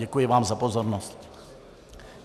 Děkuji vám za pozornost.